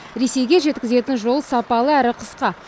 ресейге жеткізетін жол сапалы әрі қысқа